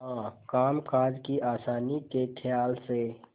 हाँ कामकाज की आसानी के खयाल से